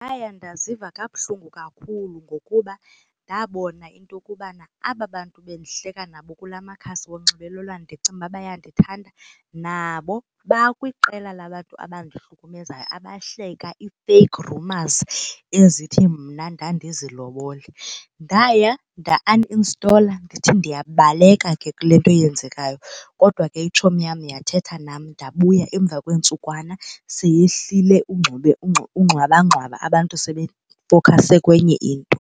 Ndaya ndaziva kabuhlungu kakhulu ngokuba ndabona into yokubana aba bantu bendihleka nabo kula makhasi onxibelelwano ndicinga ukuba bayandithanda nabo bakwiqela labantu abantu abandihlukumezayo abahleka ii-fake rumours ezithi mna ndandizilobole. Ndaya nda-uninstall-er ndithi ndiyabaleka ke kule nto yenzekayo, kodwa ke itshomi yam yathetha nam ndabuya emva kweentsukwana seyehlile unxibe ingxwabangxwaba abantu sebefowukhase kwenye into.